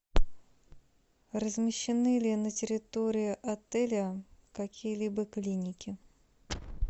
размещены ли на территории отеля какие либо клиники